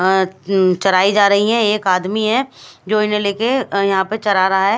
अ चराई जा रही है एक आदमी है जो इन्हें ले के यहाँ पर चरा रहा है।